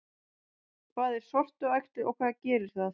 Hvað er sortuæxli og hvað gerir það?